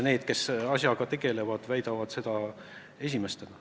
Need, kes asjaga tegelevad, väidavad seda esimesena.